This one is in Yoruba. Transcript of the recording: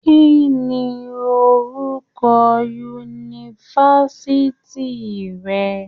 Kínní orúkọ yunifásítì rẹ?